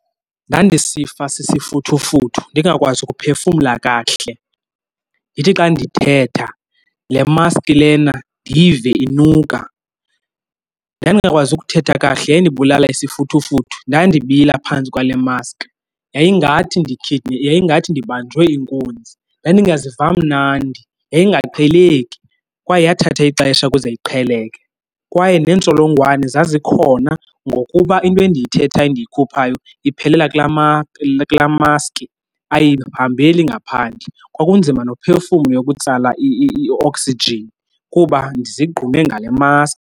Ndandisifa sisifuthufuthu, ndingakwazi ukuphefumla kakuhle. Ndithi xa ndithetha le maski lena ndiyive inuka. Ndandingakwazi ukuthetha kakuhle, yayindibulala isifuthufuthu. Ndandibila phantsi kwale mask, yayingathi yayingathi ndibanjwe inkunzi. Ndandingaziva mnandi, yayingaqheleki kwaye yathatha ixesha ukuze iqheleke. Kwaye neentsholongwane zazikhona ngokuba into endiyithethayo endiyikhuphayo iphelela kulaa kulaa maski, ayihambeli ngaphandle. Kwakunzima nophefumla ukutsala ioksijini kuba ndizigqume ngale mask.